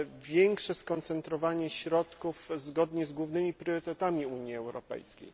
większe skoncentrowanie środków zgodnie z głównymi priorytetami Unii Europejskiej.